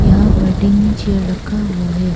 यहां पर तीन चेयर रखा हुआ है।